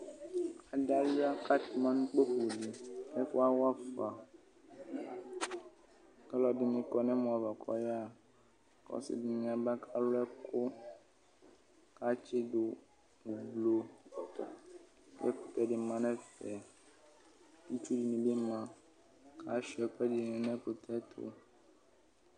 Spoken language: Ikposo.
Adɩ alʋɩa katɛma nʋ kpǝfo, ɛfʋ wafaKa lʋ ɛdɩnɩ kɔ nɛ mɔ ava kɔyaɣaKʋ ɔsɩ dɩnɩ aba ka lʋ ɛkʋ katsɩ dʋ ʋblʋ, kʋ ɛkʋtɛ dɩ ma nɛfɛ, itsu nɩ bɩ ma, ka sʋɩa ɛkʋ ɛdɩnɩ n' ɛkʋtɛ ɛtʋ